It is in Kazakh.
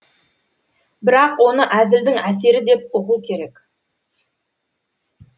бірақ оны әзілдің әсері деп ұғу керек